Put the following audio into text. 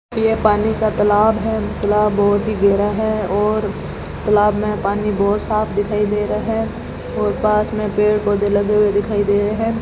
ये पानी का तालाब है तलाब बहोत ही गहरा है और तालाब में पानी बहोत साफ दिखाई दे रहा है और पास में पेड़ पौधे लगे हुए दिखाई दे रहें --